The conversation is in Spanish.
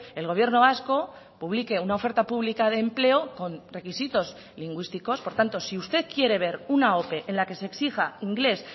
el gobierno vasco publique una oferta pública de empleo con requisitos lingüísticos por tanto si usted quiere ver una ope en la que se exija inglés